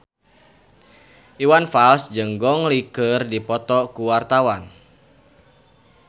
Iwan Fals jeung Gong Li keur dipoto ku wartawan